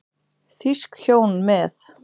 Þýsk hjón með